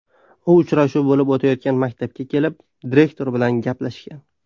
U uchrashuv bo‘lib o‘tayotgan maktabga kelib, direktor bilan gaplashgan.